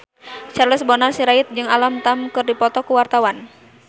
Charles Bonar Sirait jeung Alam Tam keur dipoto ku wartawan